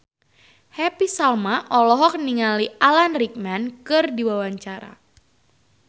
Happy Salma olohok ningali Alan Rickman keur diwawancara